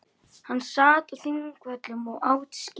Hann sat á Þingvöllum og át skyr.